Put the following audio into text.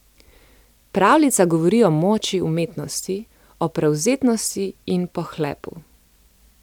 Pravljica govori o moči umetnosti, o prevzetnosti in pohlepu.